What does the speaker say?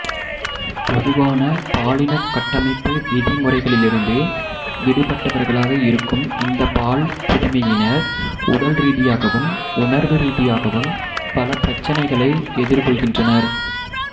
பொதுவான பாலின கட்டமைப்பு விதிமுறைகளிலிருந்து விடுபட்டவர்களாக இருக்கும் இந்த பால் புதுமையினர் உடல்ரீதியாகவும் உணர்வுரீதியாகவும் பல பிரச்சனைகளை எதிர்கொள்கின்றனர்